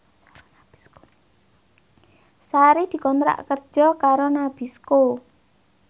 Sari dikontrak kerja karo Nabisco